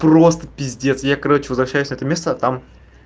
просто пиздец я короче возвращаюсь это место там